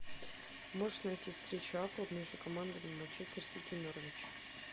можешь найти встречу апл между командами манчестер сити норвич